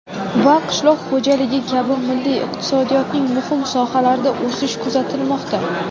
va qishloq xo‘jaligi kabi milliy iqtisodiyotning muhim sohalarida o‘sish kuzatilmoqda.